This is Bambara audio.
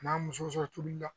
A n'a muso sɔrɔ cogo di